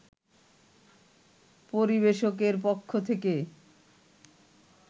পরিবেশকের পক্ষ থেকে